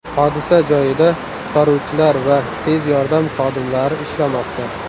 Hodisa joyida qutqaruvchilar va tez yordam xodimlari ishlamoqda.